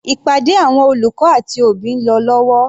Ìpàdé àwọn olùkọ́ àti òbí ń lọ lọ́wọ́.